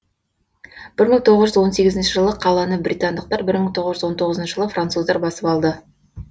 бір мың тоғыз жүз он сегізінші жылы қаланы британдықтар бір мың тоғыз жүз он тоғызыншы жылы француздар басып алды